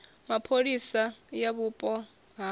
mapholisa ya vhupo ha havho